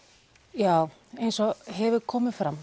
já eins og hefur komið fram